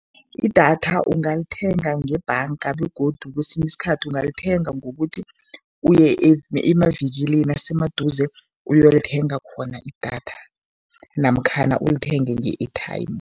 Idatha ungalithenga ngebhanga begodu kwesinye isikhathi ungalithenga ngokuthi uye emavikilini asemaduze uyolithenga khona idatha namkhana ulithenge nge-airtime.